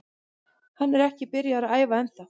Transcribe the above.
Hann er ekki byrjaður að æfa ennþá.